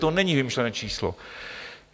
To není vymyšlené číslo.